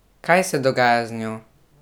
Kaj se dogaja z njo?